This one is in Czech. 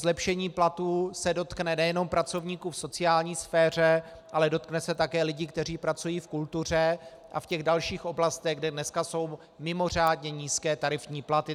Zlepšení platů se dotkne nejenom pracovníků v sociální sféře, ale dotkne se také lidí, kteří pracují v kultuře a v těch dalších oblastech, kde dneska jsou mimořádně nízké tarifní platy.